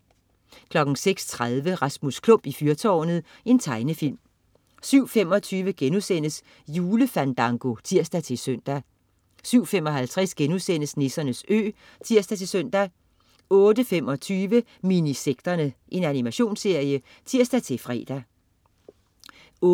06.30 Rasmus Klump i fyrtårnet. Tegnefilm 07.25 Julefandango* (tirs-søn) 07.55 Nissernes Ø* (tirs-søn) 08.25 Minisekterne. Animationsserie (tirs-fre) 08.30